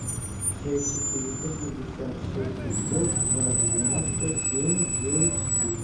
шесть четыреста шестьдесят шесть пятьсот два девяносто семь девять четыре